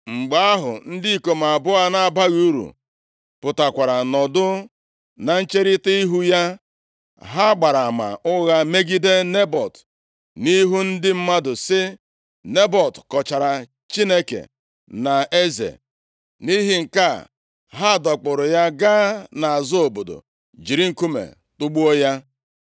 Mgbe ahụ, ndị ikom abụọ na-abaghị uru pụtakwara, nọdụ na ncherita ihu ya, ha gbara ama ụgha megide Nebọt, nʼihu ndị mmadụ, sị, “Nebọt kọchara Chineke na eze.” Nʼihi nke a, ha dọkpụụrụ ya gaa nʼazụ obodo jiri nkume tugbuo ya.